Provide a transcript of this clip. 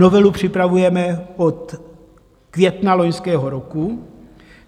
Novelu připravujeme od května loňského roku.